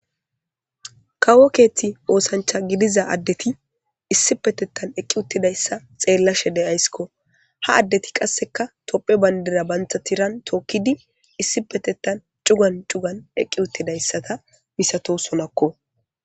Kawo keththi osanchcha gidiza adetti issippeteththan eqqidi uttidayisa xeelashshe de'ayissikko . Haa adetti qasekka tophphiya baniddira banita tiranni tokkidi issippeteththan cugani cugani eqqi uttidayi issa misatosonako.